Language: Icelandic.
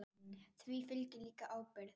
Því fylgir líka ábyrgð.